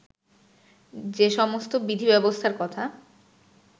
যে সমস্ত বিধিব্যবস্থার কথা